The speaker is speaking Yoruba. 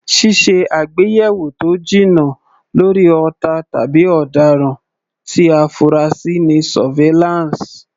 Ṣíṣe àgbéyẹ̀wò tó jinná lórí ọ̀tá tàbí ọ̀daràn tí a fura sí ni Surveillance.